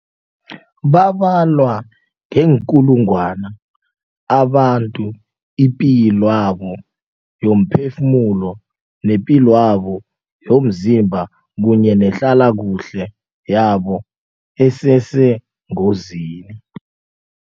Babalwa ngeenkulungwana abantu ipilwabo yomphefumulo, nepilwabo yomzimba kunye nehlalakuhle yabo esesengozini.